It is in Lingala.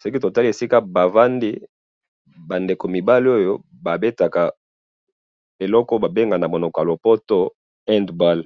soki totali esika bavandi ba ndeko mibali oyo babetaka eloko babenga namonoko ya lopoto handball